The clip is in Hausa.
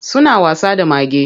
Suna wasa da mage.